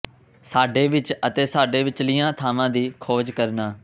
ਸਾਡੇ ਵਿਚ ਅਤੇ ਸਾਡੇ ਵਿਚਲੀਆਂ ਥਾਵਾਂ ਦੀ ਖੋਜ ਕਰਨਾ